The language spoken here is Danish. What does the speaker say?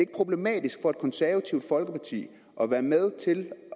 problematisk for et konservativt folkeparti at være med til